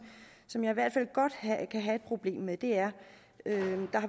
som jeg hvert fald godt kan have et problem med er